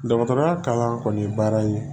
Dɔgɔtɔrɔya kalan kɔni ye baara ye